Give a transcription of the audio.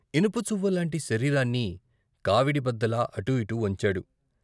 ఇనుప చువ్వ లాంటి శరీరాన్ని కావిడిబద్దలా అటూఇటూ వంచాడు.